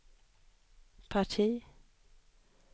parti